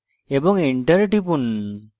এবং enter টিপুন